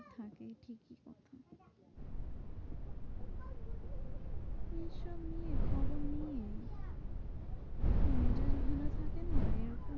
এইসব নিয়ে খবর নিয়ে মেজাজ ভালো থাকে না এরকম।